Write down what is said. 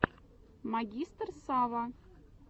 магистр сава